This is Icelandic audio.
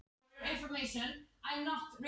Fanndís, hvað er á dagatalinu mínu í dag?